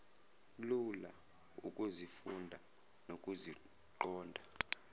lula ukuzifunda nokuziqonda